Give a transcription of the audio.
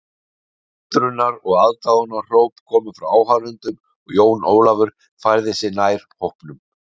Undrunar og aðdáunarhróp komu frá áhorfendunum og Jón Ólafur færði sig nær hópnum.